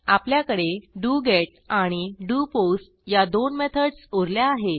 आपल्याकडे डोगेत आणि डोपोस्ट या दोन मेथडस उरल्या आहेत